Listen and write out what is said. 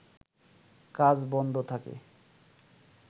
কাজ বন্ধ থাকে